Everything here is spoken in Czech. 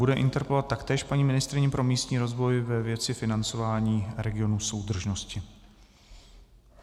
Bude interpelovat taktéž paní ministryni pro místní rozvoj ve věci financování regionů soudržnosti.